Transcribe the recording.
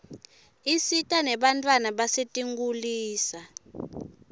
isita nebantfwana basetinkitulisa